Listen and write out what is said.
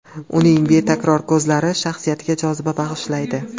Uning betakror ko‘zlari shaxsiyatiga joziba bag‘ishlaydi.